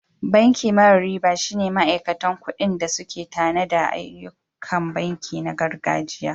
Banki mara riba shine ma'aikatan kuɗi da suƙe tanada ayyukan banki na gargajiya.